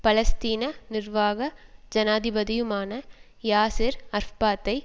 பலஸ்தீன நிர்வாக ஜனாதிபதியுமான யாசிர் அரஃபாத்தை